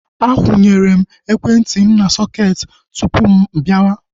Akwunyere m ekwentị m na sọketi tupu mụ-abiawa